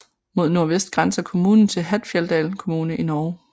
Mod nordvest grænser kommunen til Hattfjelldal kommune i Norge